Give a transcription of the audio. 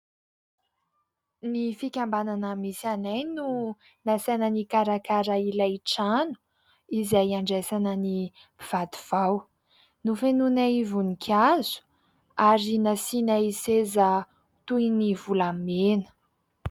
Ny fikambanana misy anay no nasaina nikarakara ilay trano izay handraisana ny mpivady vao. Nofenoinay voninkazo ary nasianay seza toy ny volamena.